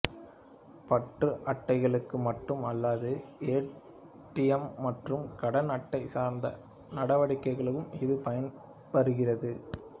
பற்று அட்டைகளுக்கு மட்டும் அல்லாது ஏடிஎம் மற்றும் கடன் அட்டை சார்ந்த நடவடிக்கைகளுக்கும் இது பயனாகிறது